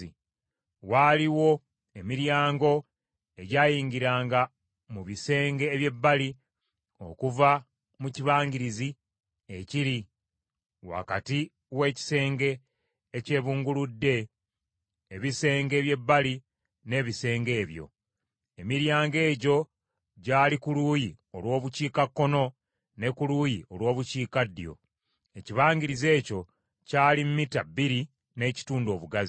Waaliwo emiryango egyayingiranga mu bisenge eby’ebbali okuva mu kibangirizi ekiri wakati w’ekisenge ekyebunguludde ebisenge eby’ebbali n’ebisenge ebyo. Emiryango egyo gyali ku luuyi olw’Obukiikakkono, ne ku luuyi olw’Obukiikaddyo. Ekibangirizi ekyo kyali mita bbiri n’ekitundu obugazi.